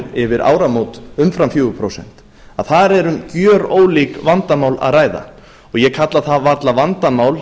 yfir áramót umfram fjögur prósent þar er um gjörólík vandamál að ræða ég kalla það varla vandamál